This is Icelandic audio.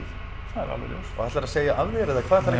það er alveg ljóst og ætlarðu að segja af þér eða hvað ætlarðu